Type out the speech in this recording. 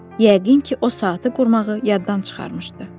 Yəqin ki, o saatı qurmağı yaddan çıxarmışdı.